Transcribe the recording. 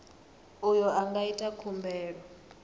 uyo a nga ita khumbelo